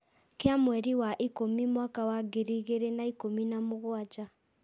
Kĩa mweri wa ĩkũmi mwaka wa ngiri igĩrĩ na ikũmi na mũgwanja.